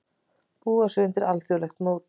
Búa sig undir alþjóðlegt mót